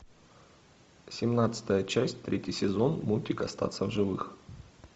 семнадцатая часть третий сезон мультик остаться в живых